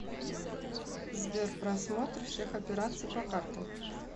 сбер просмотр всех операций по картам